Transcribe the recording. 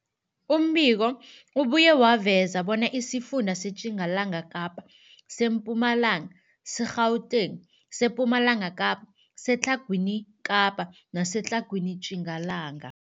Umbiko ubuye waveza bona isifunda seTjingalanga Kapa, seMpumalanga, seGauteng, sePumalanga Kapa, seTlhagwini Kapa neseTlhagwini Tjingalanga.